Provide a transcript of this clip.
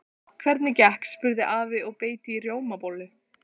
Hvernig gekk? spurði afi og beit í rjómabollu.